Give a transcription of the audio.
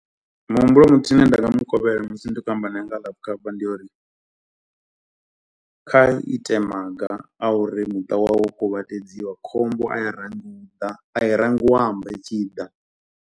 Muhumbulo muthihi une nda nga mu kovhela musi ndi khou amba nae nga life cover ndi yo uri kha ite maga a uri muṱa wawe wo kuvhatedziwa, khombo a i ḓa, a i rangi u amba i tshi i ḓa.